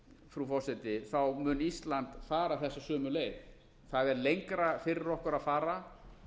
frú forseti mun ísland fara þessa sömu leið það er lengra fyrir okkur að fara